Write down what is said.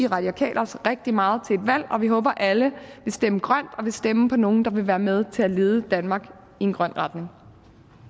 radikale venstre rigtig meget til et valg og vi håber alle vil stemme grønt og vil stemme på nogle der vil være med til at lede danmark i en grøn retning